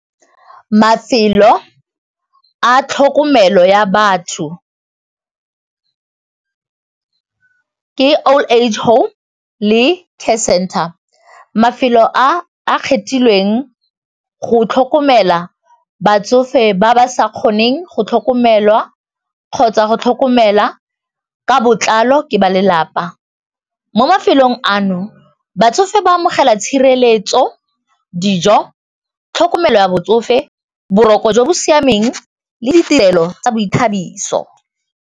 Mafelo a tlhokomelo ya batho ke old age home le care center, mafelo a a kgethilweng go tlhokomela batsofe ba ba sa kgoneng go tlhokomelwa kgotsa go tlhokomela ka botlalo ke balelapa, mo mafelong ano batsofe ba amogela tshireletso, dijo, tlhokomelo ya botsofe, boroko jo bo siameng le ditirelo tsa boithabiso.